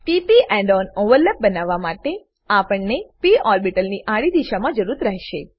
p p end on overlap બનાવવા માટે આપણને પ ઓર્બીટલની આડી દિશામાં જરૂરત રહેશે